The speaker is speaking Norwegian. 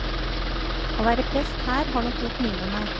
Å være prest her har nok gjort mye med meg.